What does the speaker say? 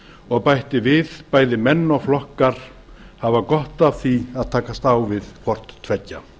og bætti við að bæði menn og flokkar hefðu gott af því að takast á við hvort tveggja